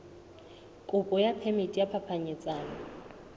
kopo ya phemiti ya phapanyetsano